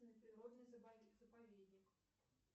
природный заповедник